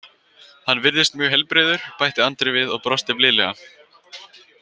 Hann virðist mjög heilbrigður, bætti Andri við og brosti blíðlega.